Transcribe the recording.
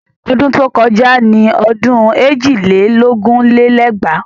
Ọdún tó kọjá ni ọdún èjì lé lógún lé lẹ́gbàá